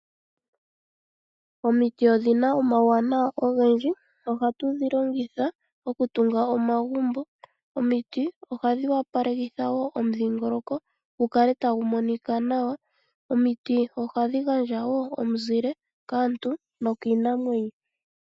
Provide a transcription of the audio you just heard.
Omiti odhina omauwanawa ogendji, oha tu dhilongitha okutunga omagumbo, ohadhi opalelekitha wo omudhingoloko gukale tagu monika nawa, ohadhi gandja wo omuzile kaantu nokiinamwenyo.